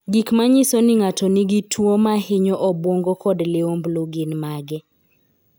Gik manyiso ni ng'ato nigi tuo mahinyo obwongo kod liumblu gin mage?